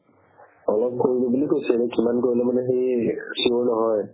অলপ কৰিলো বুলি কৈছে কিন্তু কিমান কৰিলো মানে সি sure নহয়